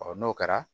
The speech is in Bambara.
n'o kɛra